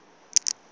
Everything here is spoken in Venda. ḽ iṅwe na ḽ iṅwe